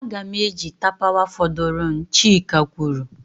Aga m eji tapawa fọdụrụnụ, chika kwuru.